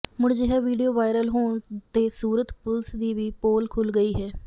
ਮੁੜ ਅਜਿਹਾ video viral ਹੋਣ ਤੇ ਸੂਰਤ ਪੁਲਿਸ ਦੀ ਵੀ ਪੋਲ ਖੁੱਲ੍ਹ ਗਈ ਹੈ